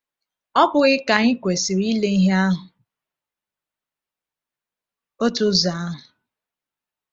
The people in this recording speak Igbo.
Ọ bụghị ka anyị kwesịrị ile ihe ahụ otu ụzọ ahụ?